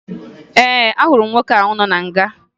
Ee, ahụrụ m nwoke ahụ nọ na nga